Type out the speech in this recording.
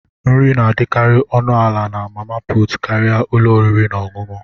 Nri na-adịkarị ọnụ ala na mama puutụ karịa ụlọ oriri na ọṅụṅụ.